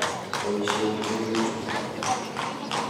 Poisyen peek chu.